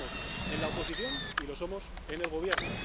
Y lo somos en la oposición y lo somos en el gobierno.